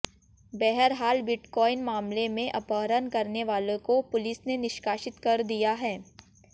बहरहाल बिटकॉइन मामले में अपहरण करने वाले को पुलिस ने निष्कासित कर दिया है